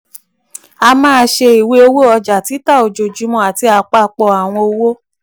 a máa ṣe ìwé owó ọjà títà ojoojúmọ́ àti apapọ àwọn owó.